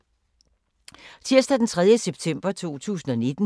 Tirsdag d. 3. september 2019